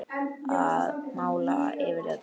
Að mála yfir þetta.